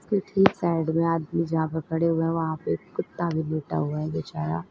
ठीक साइड में आदमी जहां पे खड़े हुए हैं वहां पे कुत्ता भी लेटा हुआ है बेचारा।